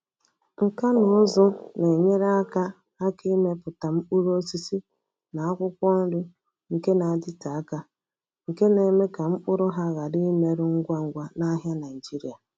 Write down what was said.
Nka na ụzụ na-enyere aka aka ịmepụta mkpụrụ osisi na akwụkwọ nri nke na-adịte aka, nke na-eme ka mkpụrụ ha ghara imerụ ngwa ngwa n’ahịa Nigeria.